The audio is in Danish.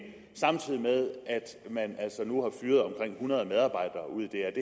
samtidig med at man altså nu har fyret omkring hundrede medarbejdere ude i dr